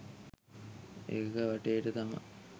ඒක වටේට තමා